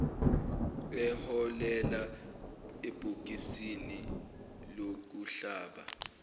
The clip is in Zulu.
eholela ebhokisini lokuhlaba